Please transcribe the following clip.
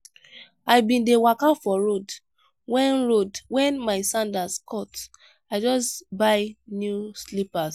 i bin dey waka for road wen road wen my sandals cut i just buy new slippers.